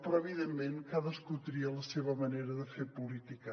però evidentment cadascú tria la seva manera de fer política